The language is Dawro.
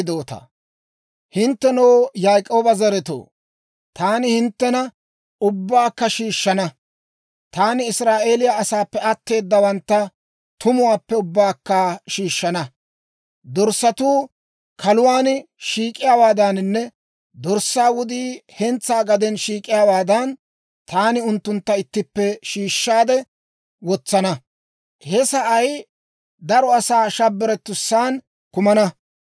«Hinttenoo, Yaak'ooba zaretoo, taani hinttena ubbaakka shiishshana; taani Israa'eeliyaa asaappe atteedawantta tumuwaappe ubbaakka shiishshana. Dorssatuu kaaluwaan shiik'iyaawaadaninne dorssaa wudii hentsaa gaden shiik'iyaawaadan, taani unttuntta ittippe shiishshaade wotsana. He sa'ay daro asaa shabbaretussan kumana.